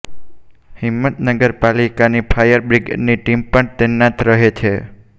હિંમતનગર પાલિકાની ફાયર બ્રિગેડની ટીમ પણ તૈનાત રહે છે